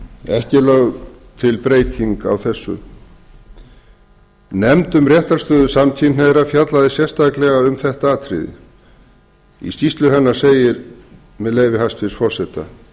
ekki er lögð til breyting á þessu nefnd um réttarstöðu samkynhneigðra fjallaði sérstaklega um þetta atriði í skýrslu hennar segir með leyfi hæstvirts forseta